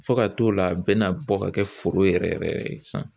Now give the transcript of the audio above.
Fo ka t'o la a bɛna bɔ ka kɛ foro yɛrɛ yɛrɛ yɛrɛ yɛrɛ ye sisan.